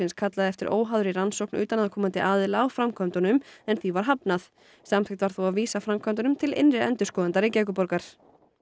kallaði eftir óháðri rannsókn utanaðkomandi aðila á framkvæmdunum en því var hafnað samþykkt var þó að vísa framkvæmdunum til innri endurskoðanda Reykjavíkurborgar